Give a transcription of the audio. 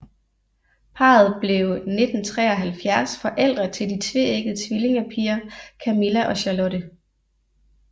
Parret blev 1973 forældre til de tveæggede tvillinge piger Camilla og Charlotte